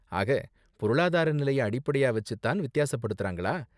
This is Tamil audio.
ஆக, பொருளாதார நிலைய அடிப்படையா வச்சு தான் வித்தியாசப்படுத்துறாங்களா?